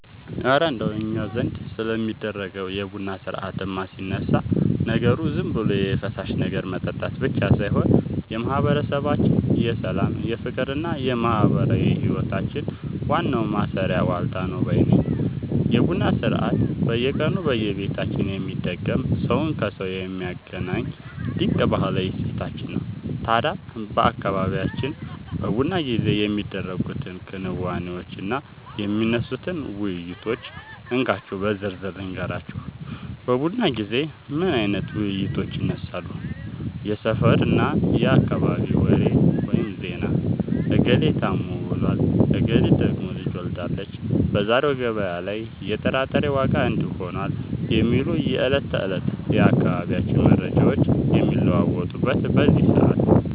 እረ እንደው እኛ ዘንድ ስለሚደረገው የቡና ሥርዓትማ ሲነሳ፣ ነገሩ ዝም ብሎ የፈሳሽ ነገር መጠጣት ብቻ ሳይሆን የማህበረሰባችን የሰላም፣ የፍቅርና የማህበራዊ ህይወታችን ዋናው ማሰሪያ ዋልታ ነው ባይ ነኝ! የቡና ሥርዓት በየቀኑ በየቤታችን የሚደገም፣ ሰውን ከሰው የሚያገናኝ ድንቅ ባህላዊ እሴታችን ነው። ታዲያ በአካባቢያችን በቡና ጊዜ የሚደረጉትን ክንዋኔዎችና የሚነሱትን ውይይቶች እንካችሁ በዝርዝር ልንገራችሁ፦ በቡና ጊዜ ምን አይነት ውይይቶች ይነሳሉ? የሰፈርና የአካባቢ ወሬ (ዜና)፦ "እገሌ ታሞ ውሏል፣ እገሊት ደግሞ ልጅ ወልዳለች፣ በዛሬው ገበያ ላይ የጥራጥሬ ዋጋ እንዲህ ሆኗል" የሚሉ የዕለት ተዕለት የአካባቢው መረጃዎች የሚለዋወጡት በዚህ ሰዓት ነው።